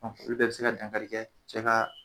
Ɔ olu bɛ bi se ka dankari kɛ cɛ ka